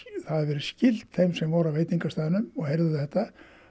hafi verið skylt þeim sem voru á veitingastaðnum og heyrðu þetta